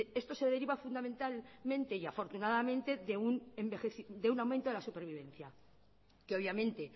esto se deriva fundamentalmente y afortunadamente de un aumento de la supervivencia que obviamente